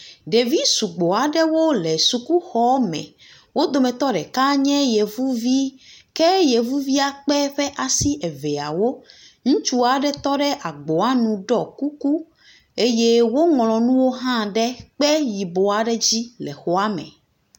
Ɖevi sugbɔ aɖewo le suku xɔa me. Wodometɔ deka nye yevu vi. Ke yevuvia kpe eƒe asi eveawo. Ŋutsu aɖe tɔ ɖe agboa nu ɖɔ kuku eye woŋl nuwo ɖe kpe yibɔa aɖe dzi le xɔa me.